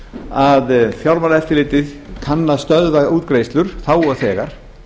að fjármálaeftirlitið kann að stöðva útgreiðslur þá og þegar